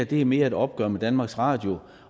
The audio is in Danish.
det mere er et opgør med danmarks radio